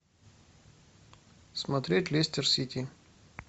смотреть лестер сити